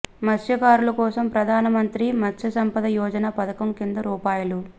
మత్స్యకారుల కోసం ప్రధానమంత్రి మత్స్య సంపద యోజన పథకం కింద రూ